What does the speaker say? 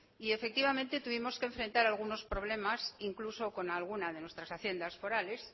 y efectivamente tuvimos que enfrentar algunos problemas incluso con alguna de nuestras haciendas forales